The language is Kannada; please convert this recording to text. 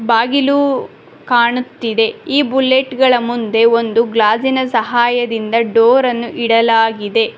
ಬಾಗಿಲು ಕಾಣುತ್ತಿದೆ ಈ ಬುಲೆಟ್ ಗಳ ಮುಂದೆ ಒಂದು ಗ್ಲಾಸಿನ ಸಹಾಯದಿಂದ ಡೋರನ್ನು ಇಡಲಾಗಿದೆ.